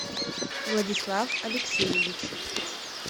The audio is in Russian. владислав алексеевич